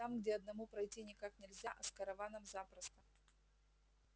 там где одному пройти никак нельзя а с караваном запросто